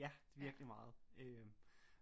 Ja virkelig meget øh